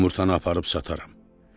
Yumurtanı aparıb sataram."